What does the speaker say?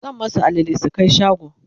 zan masu alale su Kai shago